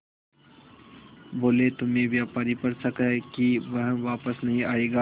बोले तुम्हें व्यापारी पर शक है कि वह वापस नहीं आएगा